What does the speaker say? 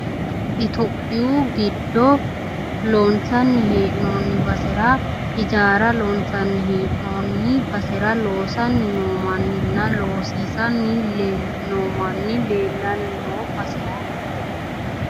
itiyopiyu giddo loonsanni heennoonni basera ijaara loonsanni hee'noonni basera ijaara loosanni noo manninna loosiisanni noo manni leellanno baseeti.